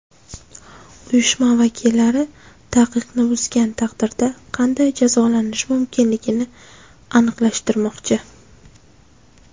Uyushma vakillari taqiqni buzgan taqdirda qanday jazolanishi mumkinligini aniqlashtirmoqchi.